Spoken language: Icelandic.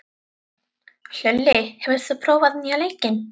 Hlölli, hefur þú prófað nýja leikinn?